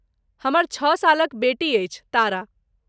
हमर छ सालक बेटी अछि तारा।